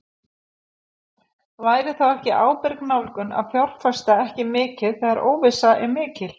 Væri þá ekki ábyrg nálgun að fjárfesta ekki þegar óvissa er mikil?